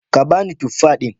Ka ba ni tuffa din